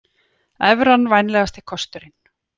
Evran vænlegasti kosturinn